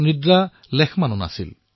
নিদ্ৰাভোক সকলো পাহৰি গৈছিল